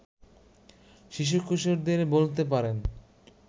শিশু-কিশোরদের বলতে পারেন